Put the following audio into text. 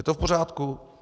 Je to v pořádku?